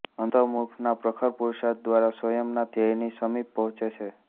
અંતર્મુખના પ્રખર પુરુષાર્થ દ્વારા સ્વયંના ધ્યેયની સમીપ પહોંચે છે